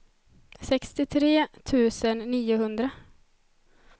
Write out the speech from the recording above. sextiotre tusen niohundra